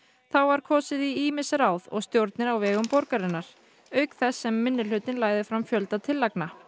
þá var kosið í ýmis ráð og stjórnir á vegum borgarinnar auk þess sem minnihlutinn lagði fram fjölda tillagna